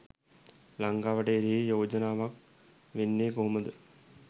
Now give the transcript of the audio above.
ලංකාවට එරෙහි යෝජනාවක් වෙන්නේ කොහොමද?